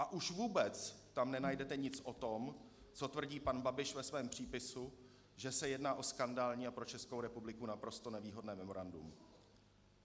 A už vůbec tam nenajdete nic o tom, co tvrdí pan Babiš ve svém přípisu, že se jedná o skandální a pro Českou republiku naprosto nevýhodné memorandum.